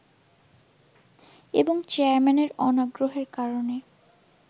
এবং চেয়ারম্যানের অনাগ্রহের কারণে